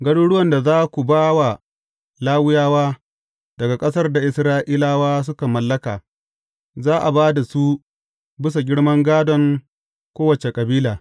Garuruwan da za ku ba wa Lawiyawa daga ƙasar da Isra’ilawa suka mallaka, za a ba da su bisa girman gādon kowace kabila.